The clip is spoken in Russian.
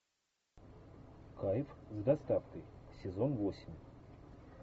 кайф с доставкой сезон восемь